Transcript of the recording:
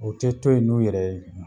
O tɛ to ye n'u yɛrɛ